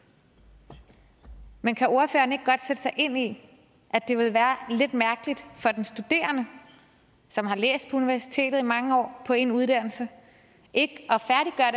men kan ordføreren ikke godt sætte sig ind i at det ville være lidt mærkeligt for den studerende som har læst på universitetet i mange år på en uddannelse ikke